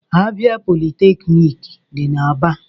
Abịa politeknik dị n'Aba